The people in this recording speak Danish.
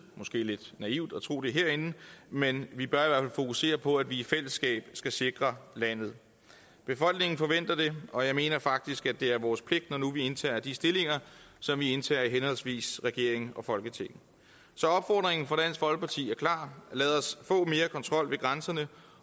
måske lidt naivt at tro det herinde men vi bør i fokusere på at vi i fællesskab skal sikre landet befolkningen forventer det og jeg mener faktisk at det er vores pligt når nu vi indtager de stillinger som vi indtager i henholdsvis regeringen og folketinget så opfordringen fra dansk folkeparti er klar lad os få mere kontrol ved grænserne